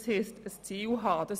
Dies heisst, ein Ziel zu haben.